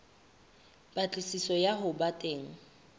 patlisiso ya ho ba teng